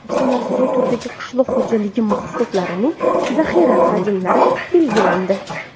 O‘zbekistonda asosiy turdagi qishloq xo‘jaligi mahsulotlarining zaxira hajmlari belgilandi .